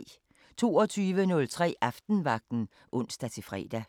22:03: Aftenvagten (ons-fre)